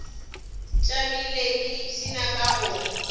tšamile ke ipshina ka go